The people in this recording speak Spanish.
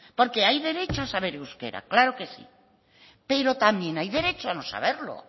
porque hay derecho a saber euskera claro que sí pero también hay derecho a no saberlo